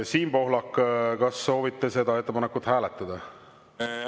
Siim Pohlak, kas soovite seda ettepanekut hääletada?